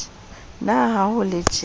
na ha ho le tjee